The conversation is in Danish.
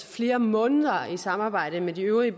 flere måneder i samarbejde med de øvrige